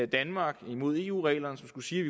danmark imod eu reglerne som skulle sige